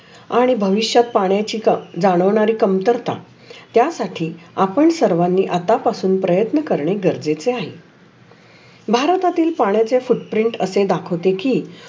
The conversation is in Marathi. आणि भविष्यात पाण्याचे कम जानवरे कामतर्ता त्या साठी आपन सर्वाने आता पासुन प्रयत्न करणे गरजेचे आहे. भारतातील पाण्याचे दृष्टप्रयोग असे दाखवते की